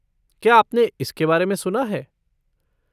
क्या आपने इसके बारे में सुना है?